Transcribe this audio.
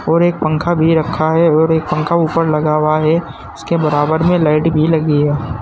और एक पंखा भी रखा है और एक पंखा ऊपर लगा हुआ है उसके बराबर में लाइट भी लगी है।